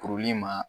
Kuruli ma